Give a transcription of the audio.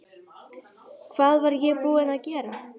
Hvað var ég búin að gera?